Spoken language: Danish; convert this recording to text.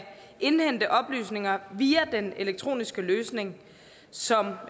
indhente oplysninger via den elektroniske løsning som